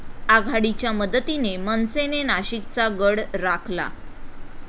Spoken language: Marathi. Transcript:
आघाडीच्या मदतीने मनसेने नाशिकचा गड राखला